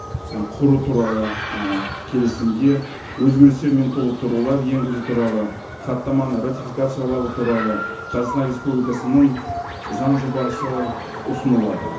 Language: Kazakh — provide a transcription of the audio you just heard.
і құру туралы і келісімге өзгерістер мен толықтырулар енгізу туралы хаттаманы ратификациялау туралы қазақстан республикасының заң жобасы ұсынылады